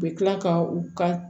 U bɛ tila ka u ka